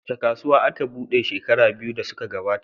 Wace kasuwa aka buɗe shekaru biyu da suka gabata?